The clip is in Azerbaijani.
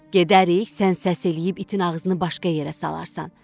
Gedərik, sən səs eləyib itin ağzını başqa yerə salarsan.